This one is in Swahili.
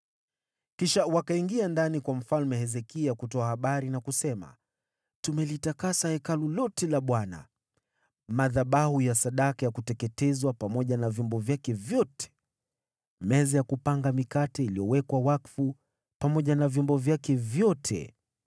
Kisha wakaingia ndani kwa Mfalme Hezekia kutoa habari na kusema: “Tumelitakasa Hekalu lote la Bwana , madhabahu ya sadaka ya kuteketezwa pamoja na vyombo vyake vyote, meza ya kupanga mikate iliyowekwa wakfu, pamoja na vyombo vyake vyote.